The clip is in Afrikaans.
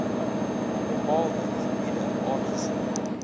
bepaalde gebiede aangesien